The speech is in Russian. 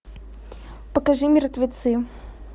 покажи мертвецы